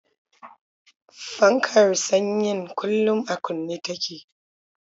Fankar tsayen kullum a kunne take.